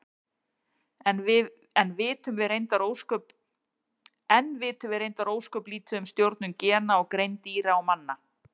Enn vitum við reyndar ósköp lítið um stjórnun gena á greind dýra og manna.